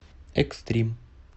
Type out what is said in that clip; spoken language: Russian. экстрим